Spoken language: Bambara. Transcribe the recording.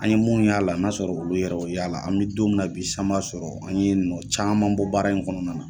An ɲe mun y'a la n'a sɔrɔ olu yɛrɛ y'o y'ala la, an mi don na bi, san kun b'a sɔrɔ an ye nɔn caman bɔ baara in kɔnɔna na.